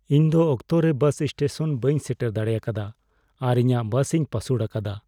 ᱤᱧ ᱫᱚ ᱚᱠᱛᱚ ᱨᱮ ᱵᱟᱥ ᱤᱥᱴᱮᱥᱚᱱ ᱵᱟᱹᱧ ᱥᱮᱴᱮᱨ ᱫᱟᱲᱮ ᱟᱠᱟᱫᱼᱟ ᱟᱨ ᱤᱧᱟᱹᱜ ᱵᱟᱥᱤᱧ ᱯᱟᱹᱥᱩᱲ ᱟᱠᱟᱫᱟ ᱾